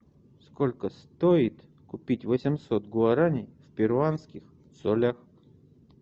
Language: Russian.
сколько стоит купить восемьсот гуарани в перуанских солях